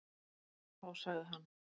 Þá sagði hann: